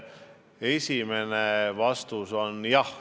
Esimene vastus on jah.